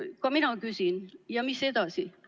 Ka mina küsin: ja mis edasi?